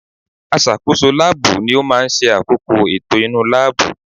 Aṣàkóso láàbù ni ó máa ń ṣe àkóko ètò inú láàbù